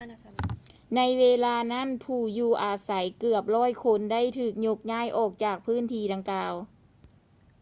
ໃນເວລານັ້ນ ຜູ້ຢູ່ອາໄສເກືອບ 100 ຄົນ ໄດ້ຖືກຍົກຍ້າຍອອກຈາກພື້ນທີ່ດັ່ງກ່າວ